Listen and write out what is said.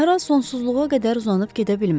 Səhra sonsuzluğa qədər uzanıb gedə bilməz.